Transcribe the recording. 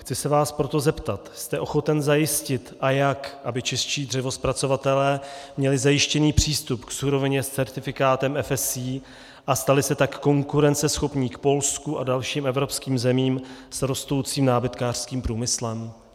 Chci se vás proto zeptat: Jste ochoten zajistit, a jak, aby čeští dřevozpracovatelé měli zajištěný přístup k surovině s certifikátem FSC a stali se tak konkurenceschopní k Polsku a dalším evropským zemím s rostoucím nábytkářským průmyslem?